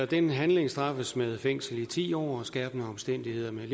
den handling straffes med fængsel i ti år og under skærpende omstændigheder med